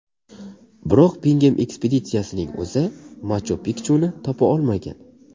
Biroq Bingem ekspeditsiyasining o‘zi Machu-Pikchuni topa olmagan.